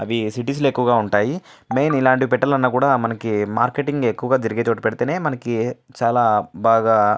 అవి సిటీస్ లో ఎక్కువ ఉంటాయి మెయిన్ ఇలాంటివి పెట్టాలి అన్న మార్కెటింగ్ ఎక్కువ జరిగే చోట పెడితే చాల బాగా --